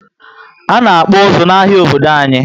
Ana akpu uzu na áhiá Obodo anyi